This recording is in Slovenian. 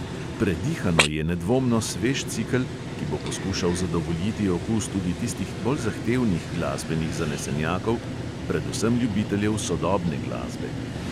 Predihano je nedvomno svež cikel, ki bo poskušal zadovoljiti okus tudi tistih bolj zahtevnih glasbenih zanesenjakov, predvsem ljubiteljev sodobne glasbe.